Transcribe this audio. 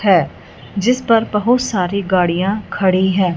है जिस पर बहुत सारी गाड़ियां खड़ी है।